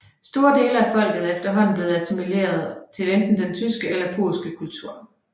Store dele af folket er efterhånden blevet assimileret til enten den tyske eller polske kultur